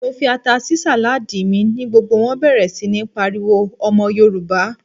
Mo fi ata sí sàládì mi, ni gbogbo wón bẹ̀rẹ̀ sí ń pariwo "Ọmọ Yorùbá."